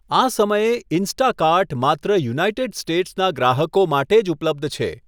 આ સમયે, ઇન્સ્ટાકાર્ટ માત્ર યુનાઇટેડ સ્ટેટ્સના ગ્રાહકો માટે જ ઉપલબ્ધ છે.